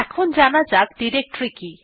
এখন জানা যাক ডিরেক্টরী কি